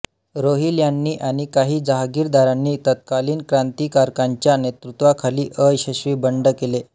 रोहिल्यांनी आणि काही जहागिरदारांनी तत्कालीन क्रांतिकारकांच्या नेतृत्वाखाली अयशस्वी बंड केले